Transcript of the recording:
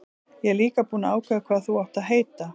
Ég er líka búinn að ákveða hvað þú átt að heita.